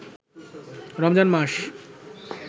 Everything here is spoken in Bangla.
রমজান মাস